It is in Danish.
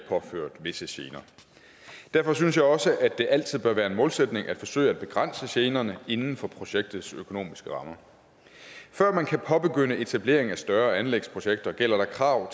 påført visse gener derfor synes jeg også at det altid bør være en målsætning at forsøge at begrænse generne inden for projektets økonomiske rammer før man kan påbegynde etableringen af større anlægsprojekter gælder der krav